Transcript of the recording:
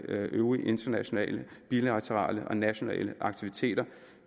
øvrige internationale bilaterale og nationale aktiviteter